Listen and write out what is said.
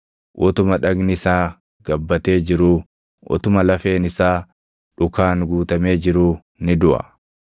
utuma dhagni isaa gabbatee jiruu, utuma lafeen isaa dhukaan guutamee jiruu ni duʼa.